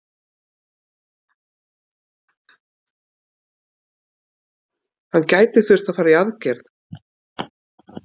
Hann gæti þurft að fara í aðgerð.